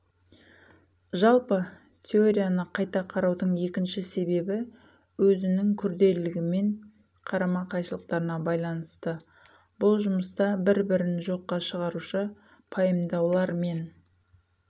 жалпы теорияны қайта қараудың екінші себебі өзінің күрделігімен карама-қайшылықтарына байланысты бұл жұмыста бір-бірін жоққа шығарушы пайымдаулар мен